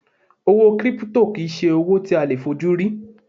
Owó 'Kírípútò' kì í se owó tí a leè fojú rí